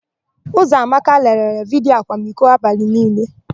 Ụzọamaka lelere vidiyo akwamiko abalị niile.